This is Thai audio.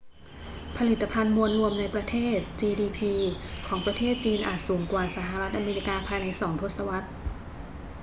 ผลิตภัณฑ์มวลรวมในประเทศ gdp ของประเทศจีนอาจสูงกว่าสหรัฐอเมริกาภายในสองทศวรรษ